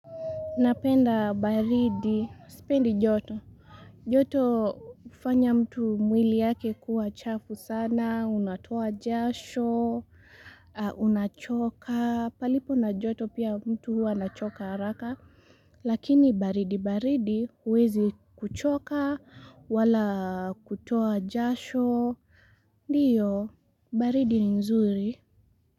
Napenda baridi, sipendi joto. Joto ufanya mtu mwili yake kuwa chafu sana, unatoa jasho, unachoka, palipo na joto pia mtu huwa anachoka haraka. Lakini baridi, baridi, uwezi kuchoka, wala kutoa jasho, ndiyo, baridi ni nzuri.